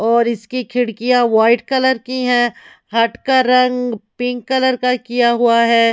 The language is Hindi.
और इसकी खिड़कियां वाइट कलर की है हट का रंग पिंक कलर का किया हुआ है।